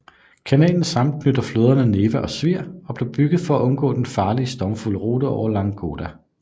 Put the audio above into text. Kanalen sammenknytter floderne Neva og Svir og blev bygget for at undgå den farlige og stormfulde rute over Ladoga